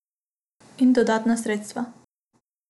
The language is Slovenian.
In dodatna sredstva.